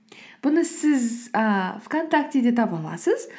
бұны сіз і вконтактеде таба аласыз